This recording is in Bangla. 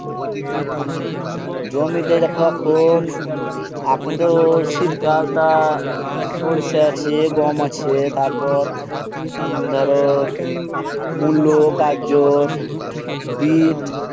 জমিতে এই দেখো আখুন আখুন তো শীতকাল তা সরিষা আছে গম আছে তারপর ধরো মূলো গাজর বিট